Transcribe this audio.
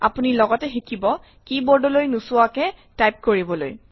আপুনি লগতে শিকিব কী বোৰ্ডলৈ নোচোৱাকৈয়ে টাইপ কৰিবলৈ